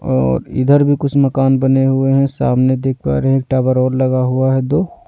और इधर भी कुछ मकान बने हुए हैं सामने देख पा रहे हैं एक टावर और लगा हुआ है दो--